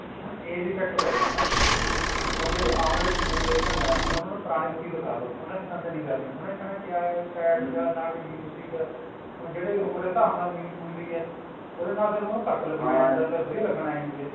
ਹੁਣ age effect ਪੇਗਿਆ ਨਾ ਹੁਣ ਜਿਹੜੇ ਆਉਣ ਆਲੇ generation ਆ ਹੁਣ ਉਹਨਾ ਨੂੰ ਪੁਰਾਣੀ movie ਦਿਖਾ ਦੋ ਉਹਨਾ ਨੇ ਪਸੰਦ ਨੀ ਕਰਨੀ ਉਹਨਾ ਨੇ ਕਹਿਣਾ ਕਿਆ sad ਜਾ ਨਾ ਕੀ ਹੈ ਹੁਣ ਜਿਹੜੇ ਉਮਰ ਦੇ ਹਿਸਾਬ ਨਾਲ ਆਉਂਦੀ ਹੈ ਉਹਦੇ ਨਾਲ ਫ਼ੇਰ ਉਹਨੂੰ ਫਰਕ ਲੱਗਣ ਲੱਗ ਜਾਂਦਾ ਫ਼ੇਰ ਵਧੀਆ ਲੱਗਣ ਲੱਗ ਜਾਂਦੀ ਹੈ